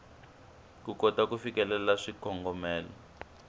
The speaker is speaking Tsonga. ku kota ku fikelela swikongomelo